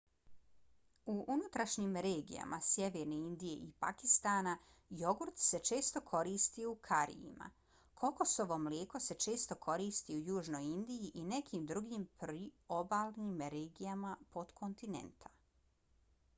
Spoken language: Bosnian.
u unutrašnjim regijama sjeverne indije i pakistana jogurt se često koristi u karijima. kokosovo mlijeko se često koristi u južnoj indiji i nekim drugim priobalnim regijama potkontinenta